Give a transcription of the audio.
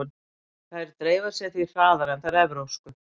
Þær dreifa sér því hraðar en þær evrópsku.